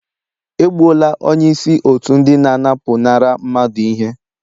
E gbuola onye isi otu ndị na-anapụnara mmadụ ihe